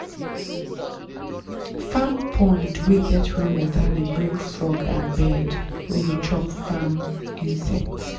farm pond wey get rainwater dey bring frog and bird wey dey chop farm insects.